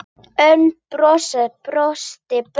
Örn brosti breitt.